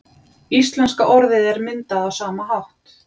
íslenska orðið er myndað á sama hátt